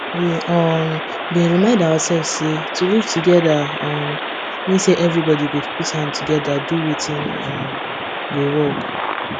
we um been remind ourselves say to live together um mean say everybody go put hand togeda do wetin um go work